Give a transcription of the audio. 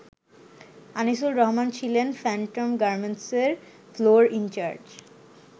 আনিসুর রহমান ছিলেন ফ্যান্টম গার্মেন্টসের floor in charge.